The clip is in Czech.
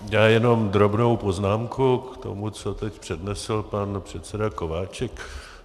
Já jenom drobnou poznámku k tomu, co teď přednesl pan předseda Kováčik.